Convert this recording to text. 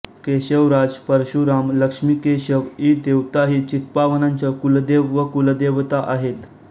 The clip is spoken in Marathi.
केशवराज परशुराम लक्ष्मीकेशव इ देवताही चित्पावनांच्या कुलदेव व कुलदेवता आहेत